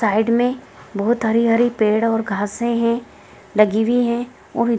Side में बहुत हरी- हरी पेड़े और घासे है लगी हुवी है।